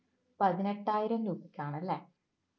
പതിനെട്ടായിരം രൂപയ്ക്കാണ് അല്ലേ